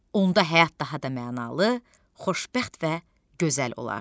Onda həyat daha da mənalı, xoşbəxt və gözəl olar.